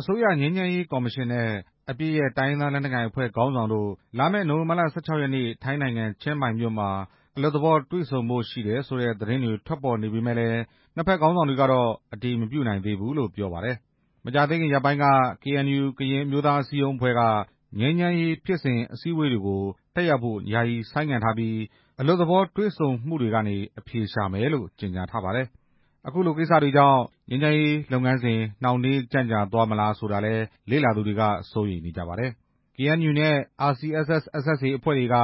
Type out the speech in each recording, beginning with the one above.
အစိုးရငြိမ်းချမ်းရေးကော်မရှင်နဲ့ အပစ်ရပ် တိုင်းရင်းသားလက်နက်ကိုင်အဖွဲ့ ခေါင်းဆောင်တို့ လာမယ့် နိုဝင်ဘာလ ၁၆ ရက်နေ့ ထိုင်းနိုင်ငံ ချင်းမိုင်မြို့မှာ အလွတ်သဘောတွေ့ဆုံဖို့ရှိတယ် ဆိုတဲ့သတင်းတွေ ထွက်ပေါ်နေပေ မယ့်လည်း နှစ်ဖက်ခေါင်းဆောင်တွေကတော့ အတည်မပြုနိုင်သေးဘူးလို့ ပြောပါတယ်။ မကြာသေးခင်ရက်ပိုင်းက KNU ကရင်အမျိုးသားအစည်းအရုံးအဖွဲ့က ငြိမ်းချမ်းရေးဖြစ်စဉ်အစည်း အဝေးပွဲတွေကို တက်ရောက်ဖို့ယာယီဆိုင်းငံ့ထားပြီး အလွတ်သဘောတွေ့ဆုံမှုတွေကနေ အဖြေရှာမယ်လို့ ကြေညာထားပါတယ်။ အခုလိုကိစ္စတွေကြောင့် ငြိမ်းချမ်းရေးလုပ်ငန်းစဉ် နှောင့်နှေးကြန့်ကြာသွားမလားဆိုတာကိုလည်း လေ့လာသူတွေက စိုးရိမ်နေကြပါတယ်။ KNU နဲ့ RCSS/SSA အဖွဲ့တွေက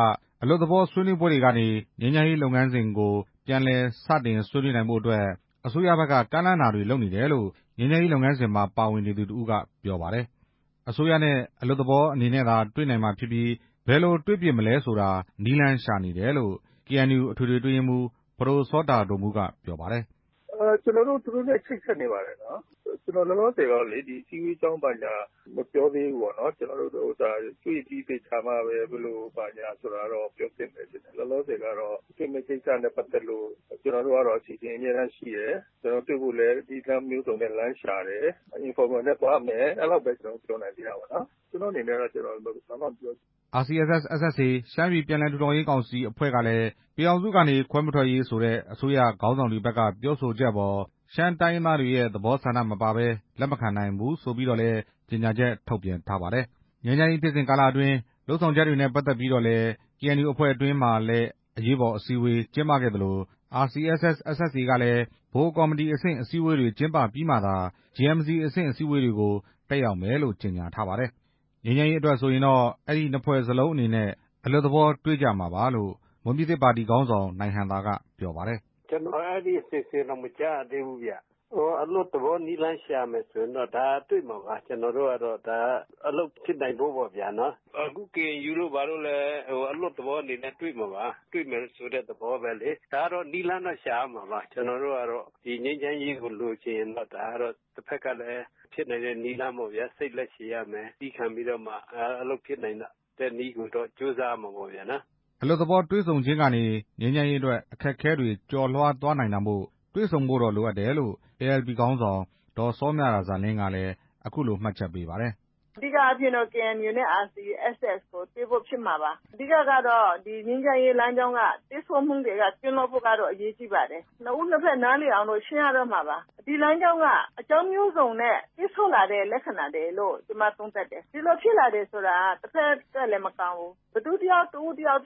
အလွတ်သဘောဆွေးနွေးပွဲတွေကနေ ငြိမ်းချမ်းရေးလုပ်ငန်းစဉ်ကို ပြန်လည် စတင်ဆွေးနွေးနိုင်ဖို့အတွက် အစိုးရဖက်က ကမ်းလှမ်းတာတွေလုပ်နေတယ်လို့ ငြိမ်းချမ်းရေး လုပ်ငန်းစဉ်မှာ ပါဝင်နေသူတစ်ဦးက ပြောပါတယ်။ အစိုးရနဲ့ အလွတ်သဘောအနေနဲ့သာ တွေ့နိုင်မှာဖြစ်ပြီး ဘယ်လိုတွေ့ဖြစ်မလဲဆိုတာ နည်းလမ်းရှာနေတယ်လို့ KNU အထွေထွေအတွင်းရေးမှူး ပဒိုစောတာဒိုမူးက ပြောပါတယ်။ "ကျနော်တို့ သူတို့နဲ့ချိတ်ဆက်နေပါတယ်။ လောလောဆယ်တော့လေ ဒီအစည်းအဝေးအကြောင်း ဘာညာ မပြောသေးဘူး။ တေ့ွပြီးသေချာမှပဲ ဘယ်လိုဘာညာက ပြောဖြစ်မယ်ထင်တယ်။ လောလောဆယ်ကတော့ တေ့ွမယ့်ကိစ္စနဲ့ပတ်သက်လို့ အဆင်သင့်အမြဲတမ်းရှိတယ်။ တေ့ွဖို့လည်း နည်းလမ်းမျိုးစုံနဲ့ လမ်းရှာတယ်။ အလွတ်သဘောနဲ့သွားမယ်။ အဲဒီလောက်ပဲ ကျနော်တို့ ပြောနိုင်သေးတာပေါ့နော်။ ကျနော့်အနေနဲ့တော့ ဘာမှမပြောချင်ဘူး" RCSS/SSA ရှမ်းပြည်ပြန်လည်ထူထောင်ရေးကောင်စီအဖွဲ့ကလည်း ပြည်ထောင်စုကနေ ခွဲမထွက်ရေး ဆိုတဲ့ အစိုးရခေါင်းဆောင်တွေဖက်က ပြောဆိုချက်အပေါ် ရှမ်းတိုင်းရင်းသားတွေရဲ့ သဘောဆန္ဒ မပါဘဲ လက်မခံနိုင် ဘူးဆိုပြီးတော့လည်း ကြေညာချက်ထုတ်ပြန်ပါတယ်။ ငြိမ်းချမ်းရေးဖြစ်စဉ်ကာလအတွင်း လုပ်ဆောင်ချက်တွေနဲ့ပတ်သက်ပြီးတော့လည်း KNU အဖွဲ့အတွင်းမှာလည်း အရေးပေါ်အစည်းအဝေး ကျင်းပခဲ့သလို RCSS/SSA ကလည်း ဗဟိုကော်မတီအဆင့် အစည်းအဝေးတွေ ကျင်းပပြီးမှသာ JMC အဆင့်အစည်းအဝေးတွေကို တက်ရောက်မယ်လို့ ကြေညာ ထားပါတယ်။ ငြိမ်းချမ်းရေးအတွက်ဆိုရင်တော့ အဲဒီနှစ်ဖွဲ့စလုံးအနေနဲ့ အလွတ်သဘောတွေ့ကြမှာပါလို့ မွန်ပြည်သစ် ပါတီခေါင်းဆောင် နိုင်ဟံသာက ပြောပါတယ်။ "ကျနော် အဲဒီအစီအစဉ်တောင် မကြားရသေးဘူး။ အလွတ်သဘော နည်းလမ်းရှာမယ်ဆို တေ့ွမှာပါ။ အလုပ်ဖြစ်နိုင်ဖို့ပေါ့ဗျာ။ အခု KNU တို့ဘာတို့လည်း အလွတ်သဘောအနေနဲ့ တေ့ွမှာပါ။ ဒါကနည်းလမ်းတော့ ရှာရမှာပါ။ ကျနော်တို့ကတော့ ငြိမ်းချမ်းရေးကို လိုချင်ရင်တော့ တဖက်ကလည်း ဖြစ်နိုင်တဲ့နည်းလမ်းပေါ့ဗျာ။ စိတ်လည်းရှည်ရမယ်။ သည်းခံပြီးတော့မှ အလုပ်ဖြစ်နိုင်တဲ့နည်းကို ကြိုးစားရမှာပေ့ါဗျာ" အလွတ်သဘောတွေ့ဆုံခြင်းကနေ ငြိမ်းချမ်းရေးအတွက် အခက်အခဲတွေကျော်လွှားသွားနိုင်တာမို့ တွေ့ဆုံဖို့တော့ လိုအပ်တယ်လို့ ALP ခေါင်းဆောင် ဒေါ်စောမြရာဇာလင်းကလည်း အခုလို မှတ်ချက်ပေးပါတယ်။ "အဓိကအားဖြင့် KNU နဲ့ RCSS တေ့ွဖို့ ဖြစ်မှာပါ။ ဒီငြိမ်းချမ်းရေးလမ်းကြောင်းမှာ ပိတ်ဆို့မှုတွေကနေ ကင်းလွတ်ဖို့ အရေးကြီးပါတယ်။ နှစ်ဦးနှစ်ဖက် နားလည်အောင် ရှင်းရတော့မှာပါ။ ဒီလမ်းကြောင်းက အကြောင်းမျိုးစုံနဲ့ ပိတ်ဆို့လာတဲ့ လက္ခဏာတွေလို့ ကျမ သုံးသပ်တယ်။ ဒီလိုဖြစ်လာတယ်ဆိုတာ ဘယ်သူတစ်ဦးတစ်ယောက်အ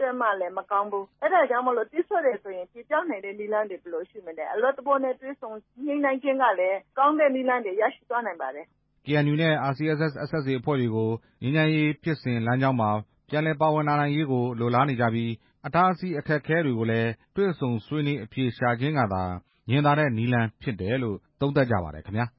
တွက်မှ မကောင်းဘူး။ အဲဒါကြောင့်ပိတ်ဆို့တယ်ဆိုရင် ချေဖျက်နိုင်တဲ့ နည်းလမ်းတွေ ဘယ်လိုရှိမလဲ။ အလွတ်သဘောနဲ့ တေ့ွဆုံညှိနှိုင်းခြင်းကလည်း ကောင်းတဲ့နည်းလမ်းတွေ ရရှိသွားနိုင်ပါတယ်" KNU နဲ့ RCSS/SSA အဖွဲ့တွေကို ငြိမ်းချမ်းရေးဖြစ်စဉ်လမ်းကြောင်းမှာ ပြန်လည်ပါဝင်လာနိုင်ရေးကို လိုလားနေကြပြီး အတားအဆီးအခက်အခဲတွေကိုလည်း တွေ့ဆုံဆွေးနွေးအဖြေရှာခြင်းကသာ ညင်သာတဲ့နည်းလမ်းဖြစ်တယ်လို့ သုံးသပ်ကြပါတယ်ခင်ဗျာ။